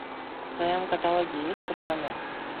в твоем каталоге есть пацаны